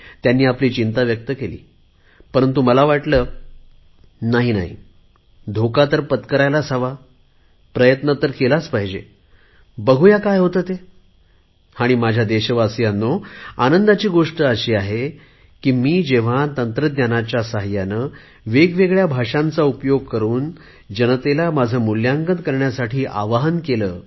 त्यांनी आपली चिंता व्यक्त केली परंतु मला वाटले नाही नाही धोका तर पत्करायलाच हवा प्रयत्न तर केलाच पाहिजे बघू काय होते ते आणि माझ्या देशवासीयांनो आनंदाची गोष्ट अशी आहे की मी जेव्हा तंत्रज्ञानाच्या सहाय्याने वेगवेगळ्या भाषांचा उपयोग करुन जनतेला माझ्या सरकारचे मुल्यांकन करण्यासाठी आवाहन केले